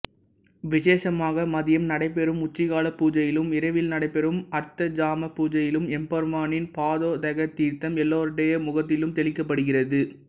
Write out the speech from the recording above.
விசேஷமாக மதியம் நடைபெறும் உச்சிகால பூஜையிலும் இரவில் நடைபெறும் அர்த்தஜாம பூஜையிலும் எம்பெருமானின் பாதோதக தீர்த்தம் எல்லோருடைய முகத்திலும் தெளிக்கப்படுகிறது